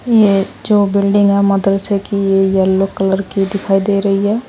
ये जो बिल्डिंग है मदरसे की ये येलो कलर की दिखाई दे रही है।